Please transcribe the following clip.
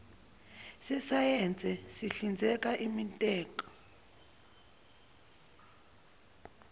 sesayense sihlinzekela imintek